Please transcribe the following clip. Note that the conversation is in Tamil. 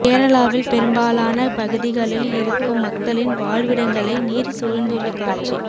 கேரளாவில் பெரும்பாலான பகுதிகளில் இருக்கும் மக்களின் வாழ்விடங்களை நீர் சூழ்ந்துள்ள காட்சி